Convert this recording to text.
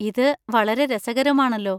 ഇത് വളരെ രസകരമാണല്ലോ.